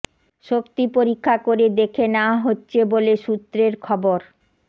শক্তি পরীক্ষা করে দেখে নেওয়া হচ্ছে বলে সূত্রের খবর